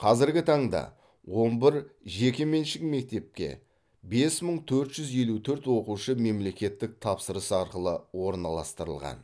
қазіргі таңда он бір жекеменшік мектепке бес мың төрт жүз елу төрт оқушы мемлекеттік тапсырыс арқылы орналастырылған